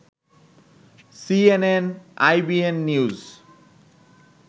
CNN-IBN news